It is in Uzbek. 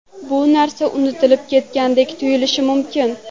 Bu narsa unutilib ketgandek tuyulishi mumkin.